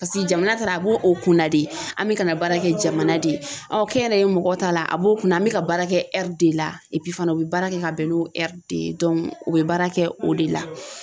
paseke jamana taala a b'o o kunna de an be ka na baara kɛ jamana de ye kɛnyɛrɛye mɔgɔ ta la a b'o kunna an be ka baara kɛ ɛri de la fana u be baara kɛ ka bɛn n'o ɛri de ye o bɛ baara kɛ o de la.